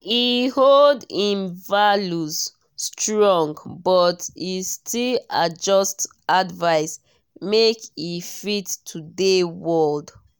e hold im values strong but e still adjust advice make e fit today world.